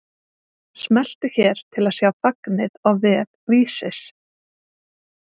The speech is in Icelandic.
Smelltu hér til að sjá fagnið á vef Vísis